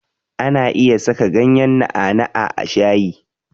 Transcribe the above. Ana iya saka ganyen na'a na'a a shayi.